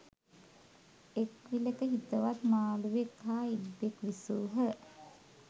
එක් විලක හිතවත් මාළුවෙක් හා ඉබ්බෙක් විසූහ.